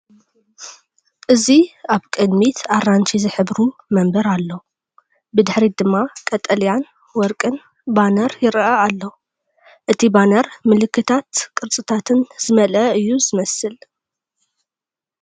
እዚ ኣብ ቅድሚት ኣራንሺ ዝሕብሩ መንበር ኣሎ፡ ብድሕሪት ድማ ቀጠልያን ወርቅን ባነር ይረአ ኣሎ። እቲ ባነር ምልክታትን ቅርጽታትን ዝመልአ እየ ዝመስል።